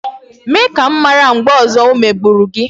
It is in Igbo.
Mee ka m mara mgbe ọzọ o megburu gị